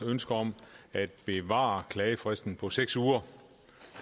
ønske om at bevare klagefristen på seks uger